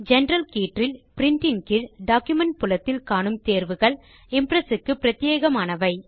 general கீற்றில் பிரின்ட் ன் கீழ் டாக்குமென்ட் புலத்தில் காணும் தேர்வுகள் இம்ப்ரெஸ் க்கு பிரத்யேகமானவை